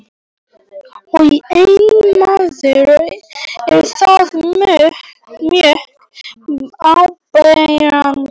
Og einn maður er þar mjög áberandi.